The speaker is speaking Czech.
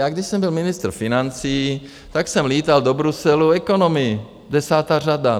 Já když jsem byl ministr financí, tak jsem létal do Bruselu economy, desátá řada.